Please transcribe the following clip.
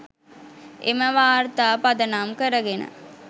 එම වාර්තා පදනම් කරගෙන